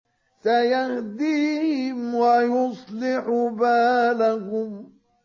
سَيَهْدِيهِمْ وَيُصْلِحُ بَالَهُمْ